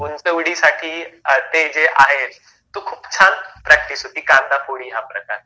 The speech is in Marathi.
उंच उडीसाठी ते जे आहे, तो खूप छान प्रॅक्टिस होती कांदाफोडी हा प्रकार.